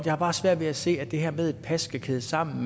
har bare svært ved at se at det her med et pas kan kædes sammen